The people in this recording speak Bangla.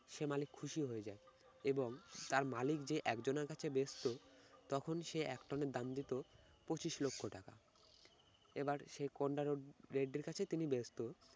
সেই মালিক খুশি হয়ে যায় এবং তার মালিক যে একজনের কাছে বেচতো তখন সে এক টনের দাম দিত পঁচিশ লক্ষ টাকা, এবার সে কোন্ডা রোড্ড~ রেড্ডির কাছে তিনি বেচতো